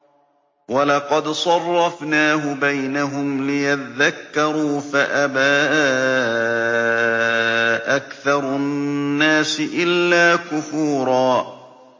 وَلَقَدْ صَرَّفْنَاهُ بَيْنَهُمْ لِيَذَّكَّرُوا فَأَبَىٰ أَكْثَرُ النَّاسِ إِلَّا كُفُورًا